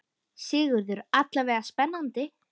Sigurður: Alla vega spennandi?